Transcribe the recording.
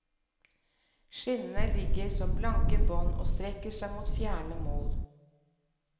Skinnene ligger som blanke bånd og strekker seg mot fjerne mål.